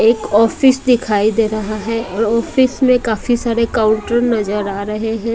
एक ऑफिस दिखाई दे रहा है और ऑफिस में काफी सारे काउंटर नजर आ रहे हैं।